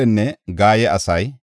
Imera yaray 1,052;